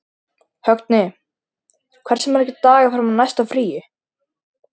Högni, hversu margir dagar fram að næsta fríi?